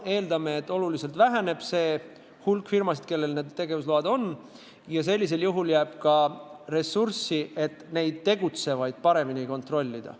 Me eeldame, et oluliselt väheneb nende firmade hulk, kellel need tegevusload on, ja sellisel juhul jääb ka ressurssi neid tegutsevaid paremini kontrollida.